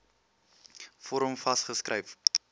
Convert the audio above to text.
vorm vas geskryf